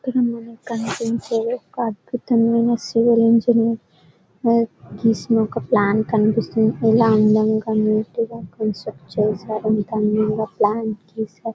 ఇక్కడ మనకి కనిపించే ఒక అద్భుతమైన సివిల్ ఇంజినీర్ గీసిన ఒక ప్లాన్ కనిపిస్తుంది ఇలా అందంగా నీట్గా కాంసృక్ట్ చేసారు ఇంత అందంగా ప్లాన్ చేసారు .